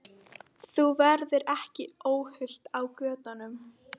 Þú verður ekki óhult á götunum.